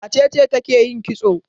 Wace ce take yin kitso?